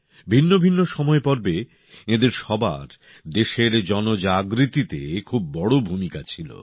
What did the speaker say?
ভিন্ন ভিন্ন সময়পর্বে এঁদের সবার দেশের জনজাগরণেতে খুব বড় ভূমিকা ছিল